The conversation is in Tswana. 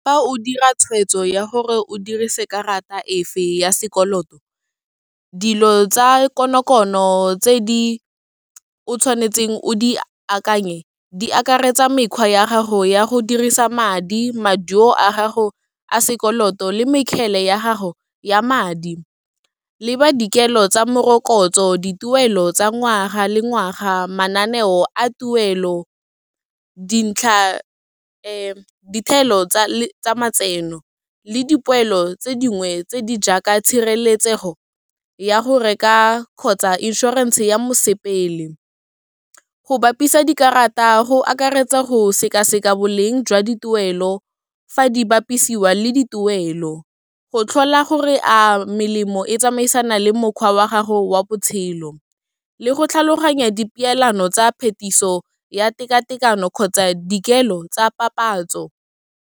Fa o dira tshweetso ya gore o dirise karata e fe ya sekoloto, dilo tsa konokono tse di o tshwanetseng o di akanye, di akaretsa mekgwa ya gago ya go dirisa madi, maduo a gago a sekoloto le mekgele ya gago ya madi, le ba dikelo tsa morokotso, dituelo tsa ngwaga le ngwaga, mananeo a tuelo, dintlha dithelo tsa matseno le dipoelo tse dingwe tse di jaaka tshireletsego ya go reka kgotsa inšhorense ya mosepele. Go bapisa dikarata go akaretsa go sekaseka boleng jwa dituelo fa di bapisiwa le dituelo, go tlhola gore a melemo e tsamaisana le mokgwa wa gago wa botshelo, le go tlhaloganya di peelano tsa phetiso ya tekatekano kgotsa dikelo tsa papatso.